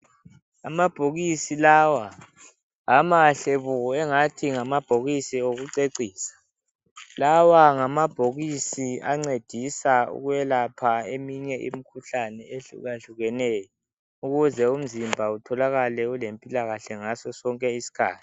Amabhokisi lawa amahle bo engathi ngamabhokisi okucecisa. Lawa ngamabhokisi ancedisa ukwelapha eminye imkhuhlani ehlukahlukeneyo, ukuze imzimba utholakale ulempilakahle ngaso sonke iskhathi.